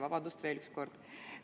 Vabandust veel kord!